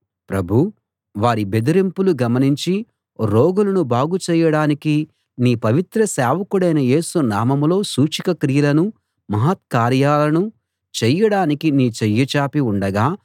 ప్రభూ వారి బెదరింపులు గమనించి రోగులను బాగుచేయడానికీ నీ పవిత్ర సేవకుడైన యేసు నామంలో సూచక క్రియలనూ మహత్కార్యాలనూ చేయడానికీ నీ చెయ్యి చాపి ఉండగా